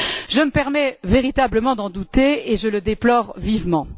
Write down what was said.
Je me permets véritablement d'en douter et je le déplore vivement.